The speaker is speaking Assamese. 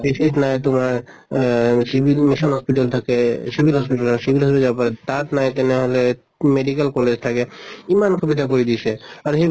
PHC ত নাই তোমাৰ আহ civil mission hospital থাকে civil hospital ৰ যাব পাৰে। তাত নাই তেনেহʼলে medical college থাকে। ইমান সুবিধা কৰি দিছে। আৰু